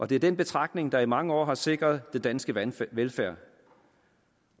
det er den betragtning der i mange år har sikret den danske danske velfærd